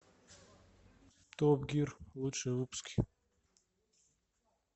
топ гир лучшие выпуски